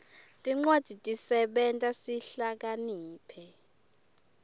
tincwadzi tisenta sihlakaniphe